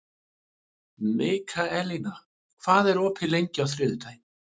Mikaelína, hvað er opið lengi á þriðjudaginn?